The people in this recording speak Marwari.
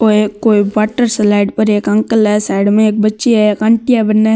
वो कोई वाटर स्लाइड पर एक अंकल है साइड में एक बच्ची है और एक आंटी बीने है।